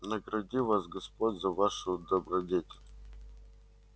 награди вас господь за вашу добродетель